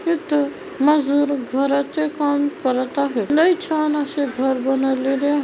तिथ मजुर घराचे काम करत आहे लय छान असे घर बनवलेले--